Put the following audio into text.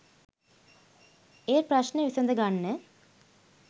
ඒ ප්‍රශ්න විසඳගන්න